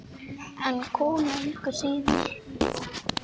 En kona engu að síður.